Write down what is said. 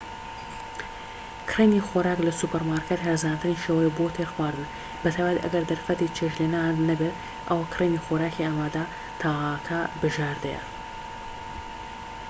کڕینی خۆراک لە سوپەرمارکێت هەرزانترین شێوەیە بۆ تێرخواردن بەتایبەت ئەگەر دەرفەتی چێشت لێنانت نەبێت ئەوا کڕینی خۆراکی ئامادە تاکە بژاردەیە